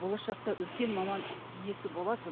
болашақта үлкен мамамн иесі боласыз